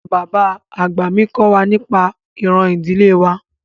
Bàbá àgbà mi kọ́ wa nípa ìran ìdílé wa